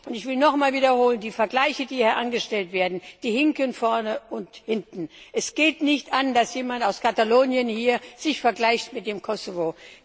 Ich will nochmals wiederholen Die Vergleiche, die hier angestellt werden, die hinken vorne und hinten. Es geht nicht an, dass jemand aus Katalonien hier sich vergleicht mit dem Kosovo.